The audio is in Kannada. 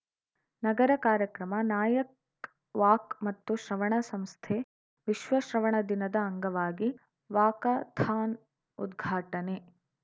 ನಗರ ಕಾರ್ಯಕ್ರಮ ನಾಯಕ್ ವಾಕ್‌ ಮತ್ತು ಶ್ರವಣ ಸಂಸ್ಥೆ ವಿಶ್ವ ಶ್ರವಣ ದಿನದ ಅಂಗವಾಗಿ ವಾಕಾಥಾನ್‌ ಉದ್ಘಾಟನೆ